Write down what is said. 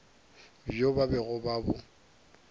bjo ba bego ba bo